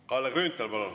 Kalle Grünthal, palun!